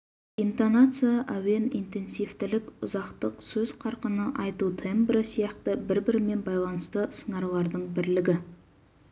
интонация әуен интенсивтілік ұзақтық сөз қарқыны айту тембрі сияқты бір-бірімен байланысты сыңарлардың бірлігі